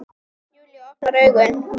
Júlía opnar augun.